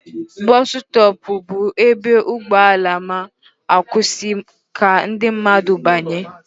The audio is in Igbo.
Bọsụ stọọpụ bụ ebe ụgbọala ma-akwụsị ka ndị mmadụ banye.